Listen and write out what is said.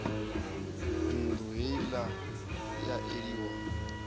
nnḓu heila i a eliwa